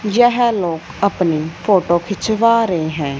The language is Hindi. यह लोग अपनी फोटो खींचवा रहे है।